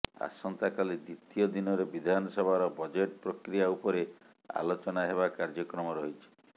ଆସନ୍ତାକାଲି ଦ୍ୱିତୀୟ ଦିନରେ ବିଧାନସଭାର ବଜେଟ୍ ପ୍ରକ୍ରିୟା ଉପରେ ଆଲୋଚନା ହେବା କାର୍ୟ୍ୟକ୍ରମ ରହିଛି